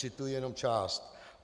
Cituji jenom část: